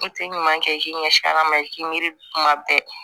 I tɛ ɲuman kɛ i k'i ɲɛsin ala ma i k'i miiri kuma bɛɛ